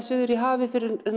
suður í hafi